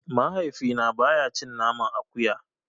Mahaifina baya cin naman akuya.